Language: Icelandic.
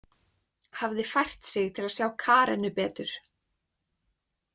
Hafði fært sig til að sjá Karenu betur.